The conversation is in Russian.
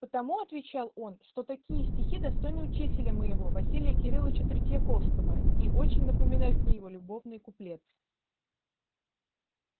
потому отвечал он что такие стихи достойны учителя моего василия кирилыча тредьяковского и очень напоминают мне его любовные куплетцы